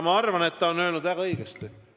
Ma arvan, et ta ütles väga õigesti.